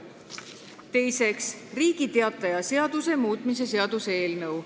Teiseks, Riigi Teataja seaduse muutmise seaduse eelnõu.